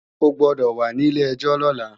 O gbọ́dọ̀ wà ní ilé-ẹjọ́ lọ́la!